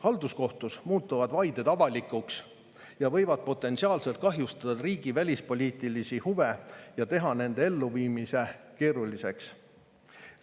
Halduskohtus muutuvad vaided avalikuks ja võivad potentsiaalselt kahjustada riigi välispoliitilisi huve ja teha nende elluviimise keeruliseks.